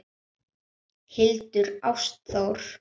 Hildur Ástþór.